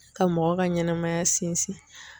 Ka mɔgɔ ka ɲɛnɛmaya sinsin.